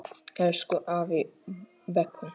Elsku afi beikon.